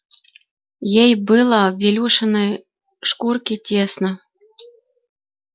ей было в ильюшиной шкурке тесно